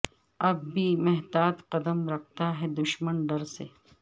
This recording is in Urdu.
اب بھی محتاط قدم رکھتا ہے دشمن ڈر سے